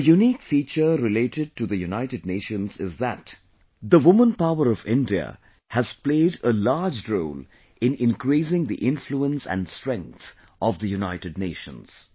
A unique feature related to the United Nations is that the woman power of India has played a large role in increasing the influence and strength of the United Nations